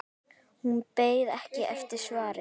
Hún beið ekki eftir svari.